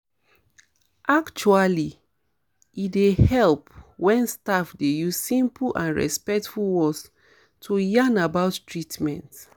actually e dey help wen staff dey use simple and respectful words to yarn about treatments